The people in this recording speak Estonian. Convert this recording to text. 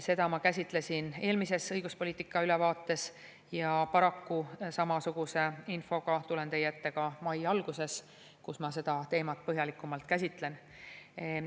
Seda ma käsitlesin eelmises õiguspoliitika ülevaates ja paraku samasuguse infoga tulen teie ette ka mai alguses, kui ma seda teemat põhjalikumalt käsitlen.